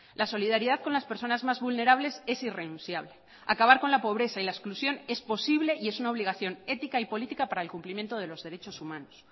la solidaridad con las personas más vulnerables es irrenunciable acabar con la pobreza y la expulsión es posible y es una obligación ética y política para el cumplimiento de los derechos humanos